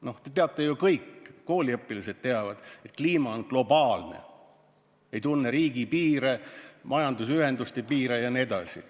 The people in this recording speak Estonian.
No te kõik ju teate, isegi kooliõpilased teavad, et kliima on globaalne, see ei tunne riigipiire, majandusühenduste piire jne.